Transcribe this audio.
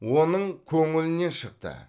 оның көңілінен шықты